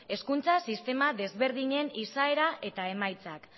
hezkuntza sistema desberdinen izaera eta emaitzak